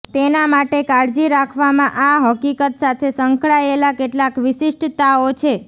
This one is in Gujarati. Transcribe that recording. તેના માટે કાળજી રાખવામાં આ હકીકત સાથે સંકળાયેલા કેટલાક વિશિષ્ટતાઓ છે